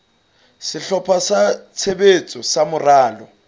sehlopha sa tshebetso sa moralo